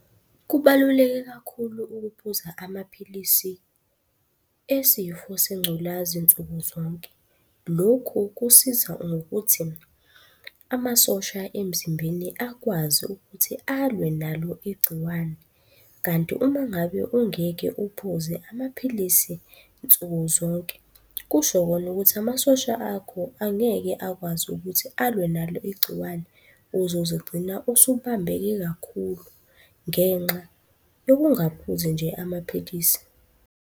Kubaluleke kakhulu ukuphuza amaphilisi esifo sengculazi nsuku zonke. Lokhu kusiza ngokuthi, amasosha emzimbeni akwazi ukuthi alwe nalo igciwane. Kanti uma ngabe ungeke uphuze amaphilisi nsuku zonke, kusho kona ukuthi amasosha akho angeke akwazi ukuthi alwe nalo igciwane. Uzozigcina usubambeke kakhulu, ngenxa yokungaphuzi nje amaphilisi.